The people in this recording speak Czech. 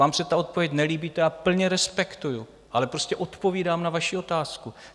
Vám se ta odpověď nelíbí, to já plně respektuji, ale prostě odpovídám na vaši otázku.